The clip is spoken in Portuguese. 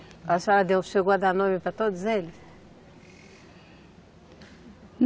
A senhora deu, chegou a dar nome para todos eles?